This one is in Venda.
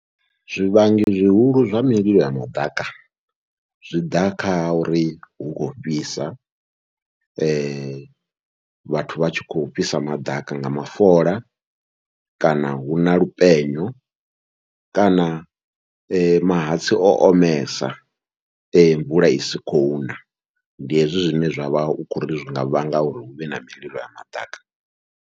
Zwivhangi zwihulu zwa mililo ya maḓaka zwiḓa kha uri hu khou fhisa, vhathu vha tshi kho fhisa maḓaka nga mafola kana huna lupenyo kana mahatsi o omesa mvula isi khou na, ndi hezwi zwine zwavha hu khou ri zwinga vhanga uri huvhe na mililo ya maḓaka.